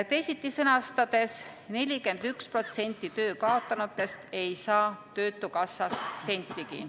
Teisiti sõnastades, 41% töö kaotanutest ei saa töötukassast sentigi.